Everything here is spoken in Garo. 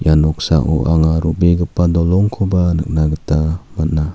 ia noksao anga ro·begipa dolongkoba nikna gita man·a.